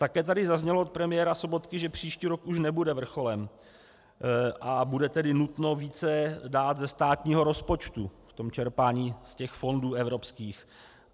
Také tady zaznělo od premiéra Sobotky, že příští rok už nebude vrcholem, a bude tedy nutno více dát ze státního rozpočtu v tom čerpání z těch fondů evropských.